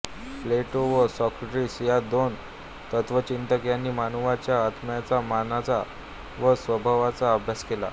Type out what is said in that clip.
प्लेटो व सॉक्रेटिस या दोन तत्त्वचिंतक यांनी मानवाच्या आत्म्याचा मनाचा व स्वभावाचा अभ्यास केला